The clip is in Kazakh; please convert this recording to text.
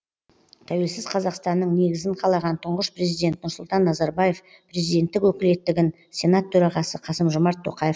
тәуелсіз қазақстанның негізін қалаған тұңғыш президент нұрсұлтан назарбаев президенттік өкілеттігін сенат төрағасы қасым жомарт тоқаев